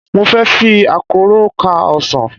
Mo fẹ́ fi àkọ́rọ́ ká ọsàn.